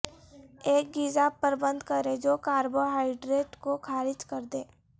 ایک غذا پر بند کریں جو کاربوہائیڈریٹ کو خارج کردیں